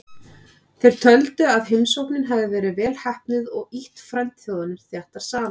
Þeir töldu að heimsóknin hefði verið vel heppnuð og ýtt frændþjóðunum þéttar saman.